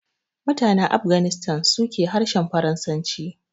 Mutanen Afghanistan su ke harshen Farasanci